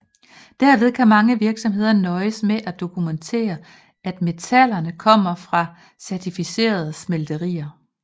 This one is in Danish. Derved kan mange virksomheder nøjes med at dokumentere at metallerne kommer fra et certificeret smelteri